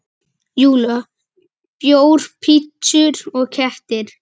Júlía: Bjór, pitsur og kettir.